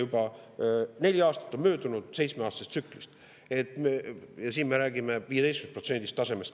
Juba neli aastat on möödunud seitsmeaastasest tsüklist ja me räägime 15% kasutamisest.